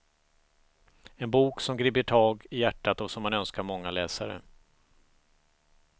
En bok som griper tag i hjärtat och som man önskar många läsare.